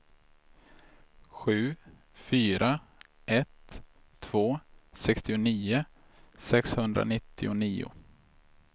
sju fyra ett två sextionio sexhundranittionio